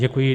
Děkuji.